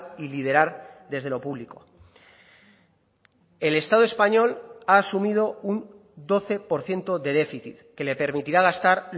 y liderar desde lo público el estado español ha asumido un doce por ciento de déficit que le permitirá gastar